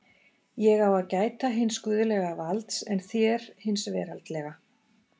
Ég á að gæta hins guðlega valds en þér hins veraldlega!